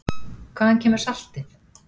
Hvaðan kemur saltið?